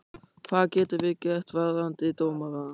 Hvað getum við gert varðandi dómarann?